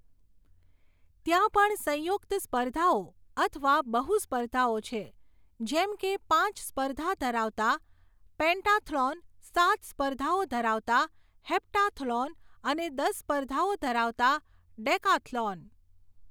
ત્યાં પણ સંયુક્ત સ્પર્ધાઓ અથવા બહુ સ્પર્ધાઓ છે, જેમ કે પાંચ સ્પર્ધા ધરાવતા પેન્ટાથ્લોન, સાત સ્પર્ધાઓ ધરાવતા હેપ્ટાથ્લોન અને દસ સ્પર્ધાઓ ધરાવતા ડેકાથ્લોન.